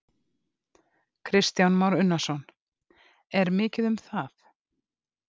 Kristján Már Unnarsson: Er mikið um það?